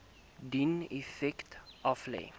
dien effekte aflê